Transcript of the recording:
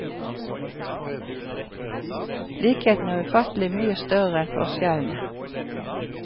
Likhetene er ufattelig mye større enn forskjellene.